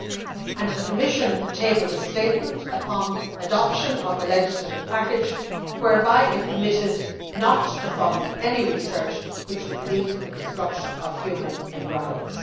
7. The Commission tabled a statement upon adoption of the legislative package whereby it committed not to fund any research which would lead to the destruction of human embryos.